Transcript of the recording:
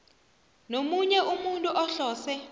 nomunye umuntu ohlose